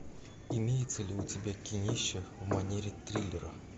имеется ли у тебя кинище в манере триллера